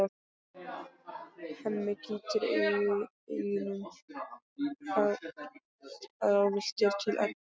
Hemmi gýtur augunum ráðvilltur til Eddu.